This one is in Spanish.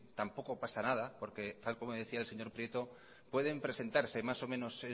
tampoco pasa nada porque tal como decía el señor prieto pueden presentarse más o menos